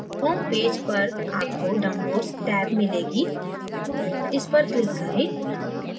home page पर आपको downloads tab मिलेगी इस पर click करें